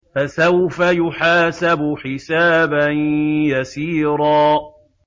فَسَوْفَ يُحَاسَبُ حِسَابًا يَسِيرًا